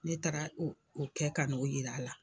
Ne taara u o kɛ kan'o yir'a la